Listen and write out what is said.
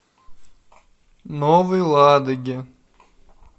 новой ладоги